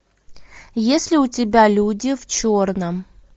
есть ли у тебя люди в черном